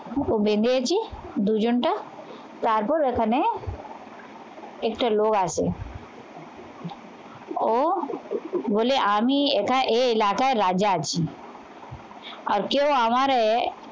ও বেঁধেছে দুজনটা তারপর ওখানে একটা লোক আসে ও বলে আমি একা এ এলাকায় রাজা আছি আর কেউ আমারে